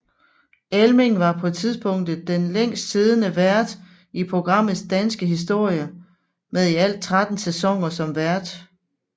Elming var på tidspunktet den længst siddende vært i programmets danske historie med i alt 13 sæsoner som vært